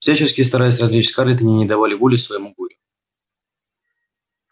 всячески стараясь развлечь скарлетт они не давали воли своему горю